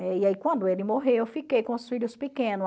E aí quando ele morreu, eu fiquei com os filhos pequeno.